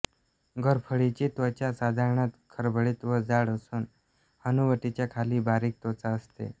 घोरपडीची त्वचा साधारणत खरबरीत व जाड असून हनुवटीच्या खाली बारीक त्वचा असते